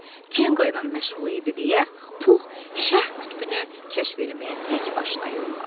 Kenqo ilə məşğul idi deyə Pux Şərq qütbünü kəşf eləməyə təkbaşına yollandı.